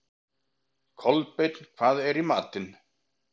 Kolbeinn, hvað er í matinn?